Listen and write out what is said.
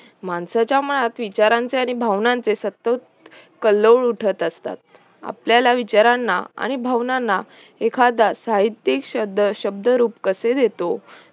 माणसाच्या मनात विचारांचे आणि भावनांचे असतात उठतआपल्याला विचारांना आणि भावनांना एखादा साहित्यिक शब्द शब्दरूप कसे देतो